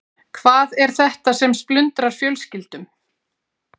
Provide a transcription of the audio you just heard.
Hvað er þetta sem splundrar fjölskyldum?